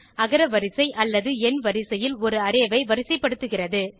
அகரவரிசைஎண் வரிசையில் ஒரு அரே ஐ வரிசைப்படுத்துகிறது